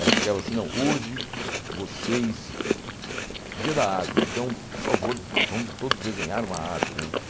Ela chegava assim, não, hoje vocês... Dia da árvore, então, por favor, vamos todos desenhar uma árvore, né?